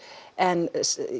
en